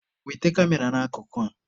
Wete Kamera n'akụkụ a!.